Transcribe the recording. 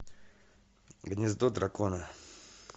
гнездо дракона